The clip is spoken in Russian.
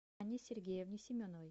анне сергеевне семеновой